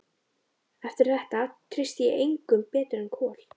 Eftir þetta treysti ég engum betur en Kol.